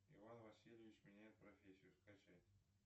иван васильевич меняет профессию скачать